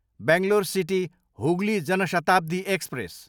Bangalore city, Hooghly Jan Shatabdi express